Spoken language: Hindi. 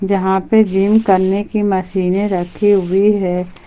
जहां पे जिम करने की मशीनें रखी हुई है।